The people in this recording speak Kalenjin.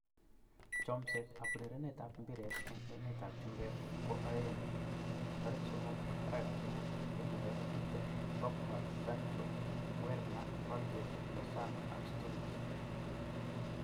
Chomset ab urerenet ab mbiret eng emet ab chumbek koaeng' 03.03.2020: Pogba ,Sancho, Werner, Holgate, Lozano, Sturridge